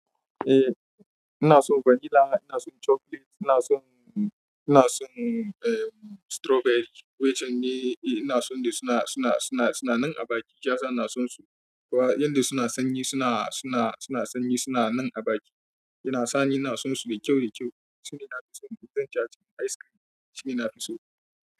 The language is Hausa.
Eh ina son vanilla, ina son chocolate, ina son, ina son strawberry. Wai shine ina son da suna, suna, suna, suna nan a baki. Yasa ina sonsu. Kowa inda suna sanyi suna, suna, suna sanyi suna nan a baki. Ina sani ina sonsu da kyau, da kyau. Shine ina fi son cin jaji ice cream shine ina fi so.